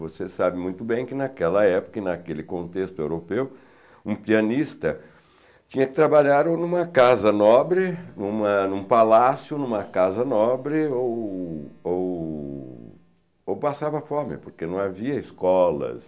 Você sabe muito bem que naquela época, naquele contexto europeu, um pianista tinha que trabalhar ou em uma casa nobre, em uma em uma palácio, em uma casa nobre, ou ou ou passava fome, porque não havia escolas.